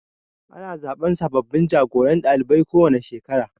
Ana zaɓen sababbin jagoran ɗalibai kowane shekara